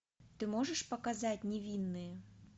ты можешь показать невинные